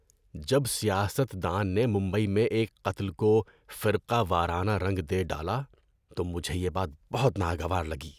جب سیاست دان نے ممبئی میں ایک قتل کو فرقہ وارانہ رنگ دے ڈالا تو مجھے یہ بات بہت ناگوار لگی۔